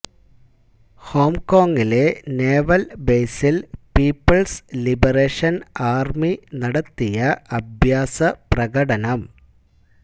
home കോങിലെ naval ബേസില് people's liberation army നടത്തിയ അഭ്യാസ പ്രകടനം